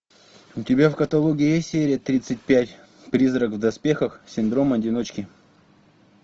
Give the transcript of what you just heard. у тебя в каталоге есть серия тридцать пять призрак в доспехах синдром одиночки